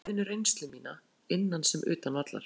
Ég vil færa liðinu reynslu mína, innan sem utan vallar.